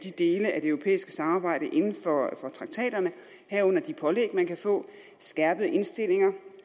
det europæiske samarbejde inden for traktaterne herunder de pålæg man kan få skærpede indstillinger